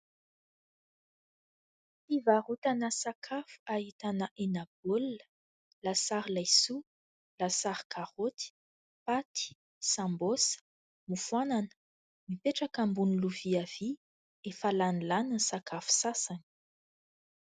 Fivarotana sakafo ahitana hena baolina, lasary laisoa, lasary karaoty, paty, "sambos", mofoanana ; mipetraka ambony lovia vy. Efa lany lany ny sakafo sasany.